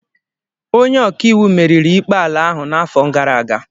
Onye ọka iwu meriri ikpe ala ahụ n'afọ gara aga